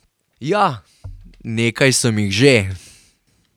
Ja, nekaj sem jih že.